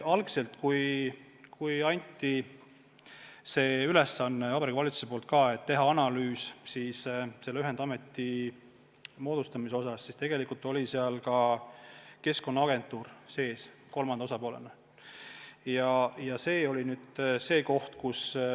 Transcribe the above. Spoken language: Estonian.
Algselt, kui Vabariigi Valitsus andis ülesande teha analüüs ühendameti moodustamise kohta, siis oli seal kolmanda osapoolena sees ka Keskkonnaagentuur.